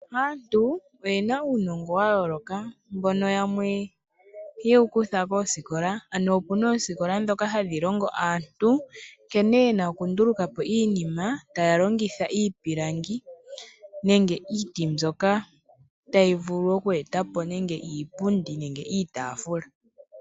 Aantu oye na uunongo wa yooloka. Yamwe oye wu kutha koosikola dhoka hadhi longo aantu, nkene ye na okunduluka po iinima, ta ya longitha iipilangi nenge iiti mbyoka ta yi vulu oku eta po iipundi niitaafula.